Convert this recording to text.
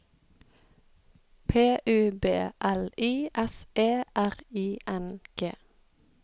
P U B L I S E R I N G